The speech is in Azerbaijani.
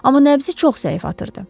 Amma nəbzi çox zəif atırdı.